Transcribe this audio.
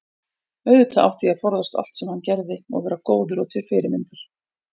auðvitað átti ég að forðast allt sem hann gerði og vera góður og til fyrirmyndar.